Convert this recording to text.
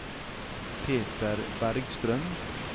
Peter Bergstrøm